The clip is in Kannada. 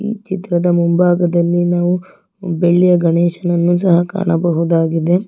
ಈ ಚಿತ್ರದ ಮುಂಭಾಗದಲ್ಲಿ ನಾವು ಬೆಳ್ಳಿಯ ಗಣೇಶನನ್ನು ಸಹ ಕಾಣಬಹುದಾಗಿದೆ.